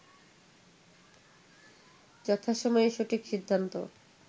যথাসময়ে সঠিক সিদ্ধান্ত